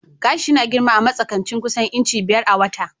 Gashi yana girma a matsakaicin kusan inci biyar a wata.